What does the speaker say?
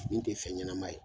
Min te fen ɲɛnama ye